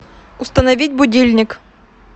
установить будильник